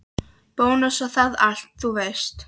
Bónus og það allt, þú veist.